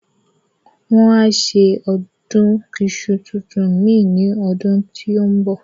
Wọ́n á ṣe Ọdún iṣu tuntun mìíràn ní ọdún tó ń bọ̀